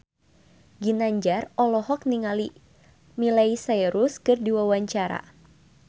Ginanjar olohok ningali Miley Cyrus keur diwawancara